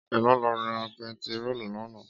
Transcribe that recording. Éló ló rá pètiró làná?